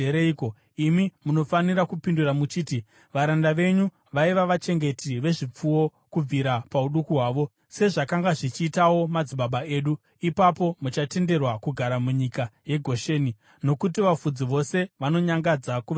imi munofanira kupindura muchiti, ‘Varanda venyu vaiva vachengeti vezvipfuwo kubvira pauduku hwavo, sezvakanga zvichiitawo madzibaba edu.’ Ipapo muchatenderwa kugara munyika yeGosheni, nokuti vafudzi vose vanonyangadza kuvaIjipita.”